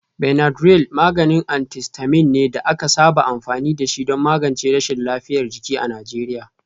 Benadryl maganin antihistamine ne da aka saba amfani da shi don magance rashin lafiyar jiki a Najeriya.